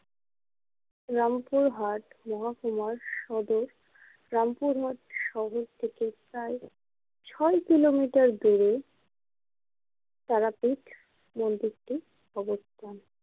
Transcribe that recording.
রামপুরহাট মহাকুমার সদর রামপুরহাট শহর থেকে প্রায় ছয় কিলোমিটার দূরে তারাপীঠ মন্দিরটি অবস্থান।